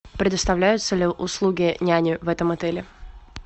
предоставляются ли услуги няни в этом отеле